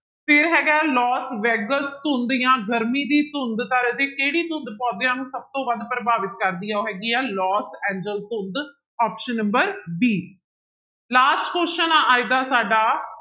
ਫਿਰ ਹੈਗਾ ਹੈ ਲੋਸ ਵੈਗਸ ਧੁੰਦ ਜਾਂ ਗਰਮੀ ਦੀ ਧੁੰਦ ਤਾਂ ਰਾਜੇ ਕਿਹੜੀ ਧੁੰਦ ਪੌਦਿਆਂ ਨੂੰ ਸਭ ਤੋਂ ਵੱਧ ਪ੍ਰਭਾਵਿਤ ਕਰਦੀ ਹੈ ਉਹ ਹੈਗੀ ਆ ਲੋਸ ਐਂਜਲ ਧੁੰਦ option d, last question ਆ ਅੱਜ ਦਾ ਸਾਡਾ